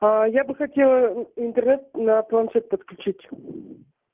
я бы хотела интернет на планшет подключить